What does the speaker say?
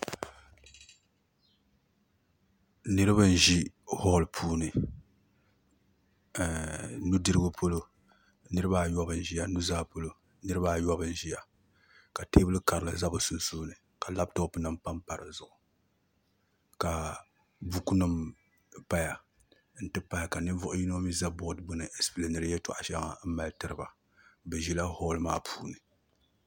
Niraba n ʒi holl puuni nudirigu polo nirabaa ayobu n ʒiya nuzaa polo nirabaa ayobu n ʒiya ka teebuli karili ʒɛ bi sunsuuni ka labtop nim panpa di zuɣu ka buku nim paya n ti pahi ka ninvuɣu yino mii ʒɛ bood gbuni n ɛspileeniri yɛltɔɣa shɛŋa tiriba bi ʒila holl maa puuni